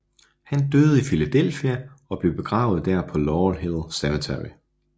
Han døde i Philadelphia og blev begravet der på Laurel Hill Cemetery